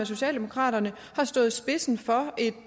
socialdemokraterne har stået i spidsen for et